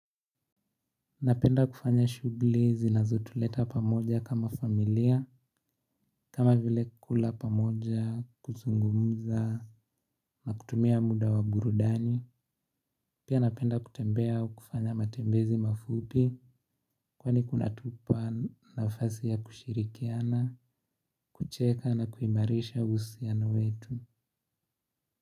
Napenda kufanya shughuli zinazotuleta pamoja kama familia kama vile kula pamoja, kuzungumza na kutumia muda wa burudani. Pia napenda kutembea kufanya matembezi mafupi. Kwani kunatupa na nafasi ya kushirikiana kucheka na kuimarisha uhusiano wetu.